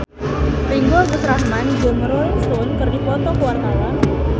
Ringgo Agus Rahman jeung Rolling Stone keur dipoto ku wartawan